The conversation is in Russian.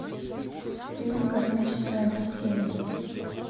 фильм космическая одиссея